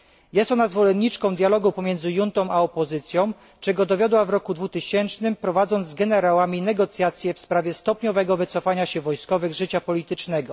Jest ona zwolenniczką dialogu pomiędzy juntą a opozycją, czego dowiodła w roku 2000, prowadząc z generałami negocjacje w sprawie stopniowego wycofania się wojskowych z życia politycznego.